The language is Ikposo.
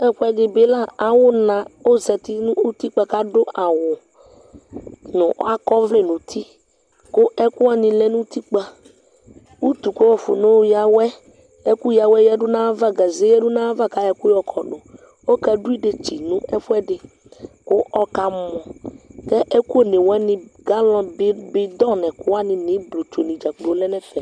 Ɛfuɛdi bi la, awʋ na ozati nʋ utikpa kʋ adʋ awʋ kʋ akɔ ɔvlɛ nʋ ti, kʋ ɛkʋ wani lɛ nʋ utikpa Utu kʋ wafɔnayɔya awɛ, ɛkʋ yawɛ, gaze yadʋ n'ayava kʋ ayɔ ɛkʋ yɔkɔdʋ Ɔkadʋ edetsi nʋ ɛkʋɛdi kʋ ɔkamɔ, kʋ ɛkʋ one wani, galɔni bi, bidoŋ nʋ ɛkʋwani nʋ ibotsu dzakplo adʋ ɛfɛ